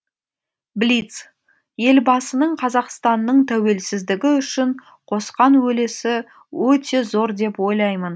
блиц елбасының қазақстанның тәуелсіздігі үшін қосқан үлесі өте зор деп ойлаймын